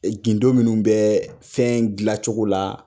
E gindo minnu bɛɛɛ fɛn gilacogo la